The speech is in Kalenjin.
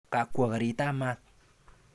Kakwo garitab maat.